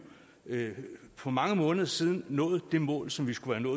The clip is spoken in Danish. for mange måneder siden nået det mål som vi skulle have